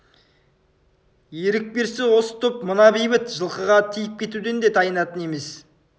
ерік берсе осы топ мына бейбіт жылқыға тиіп кетуден де тайынатын емес